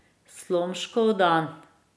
Slomškov dan.